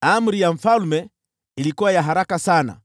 Amri ya mfalme ilikuwa ya haraka sana